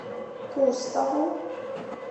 кустову